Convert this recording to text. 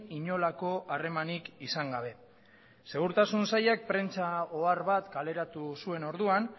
inolako harremanik izan gabe segurtasun sailak prentsa ohar bat kaleratu zuen orduan